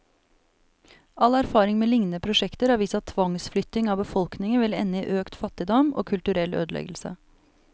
All erfaring med lignende prosjekter har vist at tvangsflytting av befolkningen vil ende i økt fattigdom, og kulturell ødeleggelse.